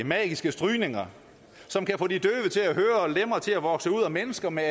magiske strygninger som kan få de døve til at høre og lemmer til at vokse ud og mennesker med